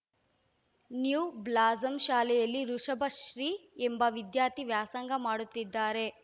new blossom ಶಾಲೆಯಲ್ಲಿ ವೃಷಭಶ್ರೀ ಎಂಬ ವಿದ್ಯಾರ್ಥಿ ವ್ಯಾಸಂಗ ಮಾಡುತ್ತಿದ್ದಾರೆ